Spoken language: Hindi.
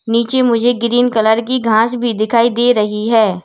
नीचे मुझे ग्रीन कलर की घास भी दिखाई दे रही है।